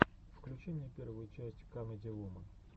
включи мне первую часть камеди вуман